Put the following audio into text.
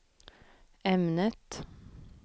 ämnet